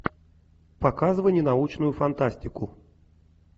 показывай ненаучную фантастику